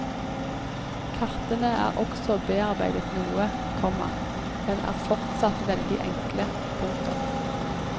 Kartene er også bearbeidet noe, komma men er fortsatt veldig enkle. punktum